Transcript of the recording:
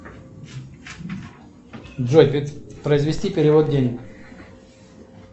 джой произвести перевод денег